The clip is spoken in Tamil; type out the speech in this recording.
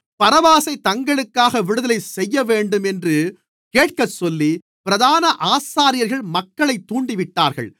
பரபாசைத் தங்களுக்காக விடுதலை செய்யவேண்டும் என்று கேட்கச்சொல்லி பிரதான ஆசாரியர்கள் மக்களைத் தூண்டிவிட்டார்கள்